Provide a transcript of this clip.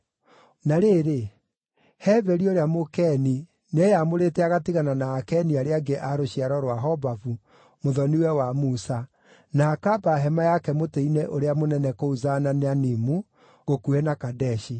Na rĩrĩ, Heberi ũrĩa Mũkeni nĩeyamũrĩte agatigana na Akeni arĩa angĩ a rũciaro rwa Hobabu, mũthoni-we wa Musa, na akaamba hema yake mũtĩ-inĩ ũrĩa mũnene kũu Zaananimu gũkuhĩ na Kadeshi.